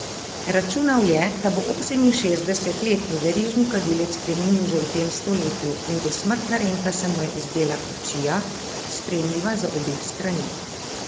Računal je, da bo oseminšestdesetletni verižni kadilec preminil še v tem stoletju, in dosmrtna renta se mu je zdela kupčija, sprejemljiva za obe strani.